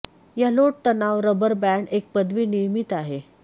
या लोड तणाव rubber band एक पदवी नियमित आहे